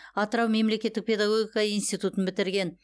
атырау мемлекеттік педагогика институтын бітірген